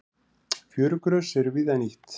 Fjörugrös eru víða nýtt.